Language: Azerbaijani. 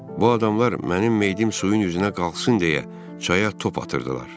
Bu adamlar mənim meydim suyun üzünə qalxsın deyə çaya top atırdılar.